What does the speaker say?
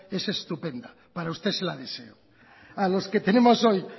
es estupendo para usted se la deseo a los que tenemos hoy